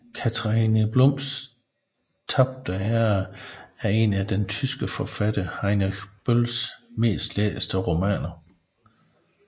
Katharina Blums tabte ære er en af den tyske forfatter Heinrich Bölls mest læste romaner